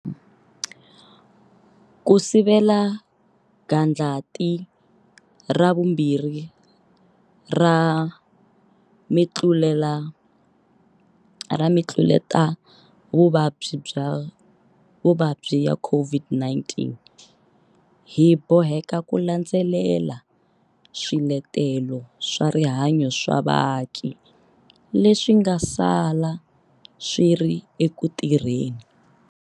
Ku sivela gandlati ra vumbirhi ra mitluletavuvabyi ya COVID-19, hi boheka ku landzelela swiletelo swa rihanyu swa vaaki leswi nga sala swi ri eku tirheni.